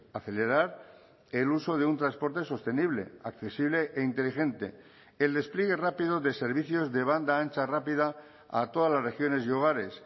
acelerar el uso de un transporte sostenible accesible e inteligente el despliegue rápido de servicios de banda ancha rápida a todas las regiones y hogares